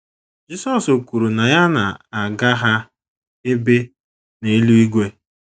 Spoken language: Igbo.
Jisọs kwuru na ya na - aga ha ebe n’eluigwe.